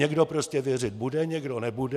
Někdo prostě věřit bude, někdo nebude.